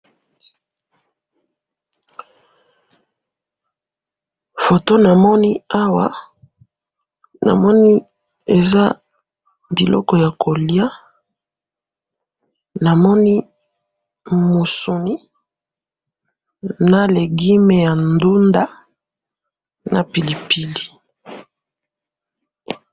Foto namoni awa, namoni eza biloko ya koliya namoni musuni, na legume ya ndunda na pilipili.